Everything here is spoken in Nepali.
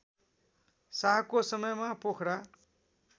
शाहको समयमा पोखरा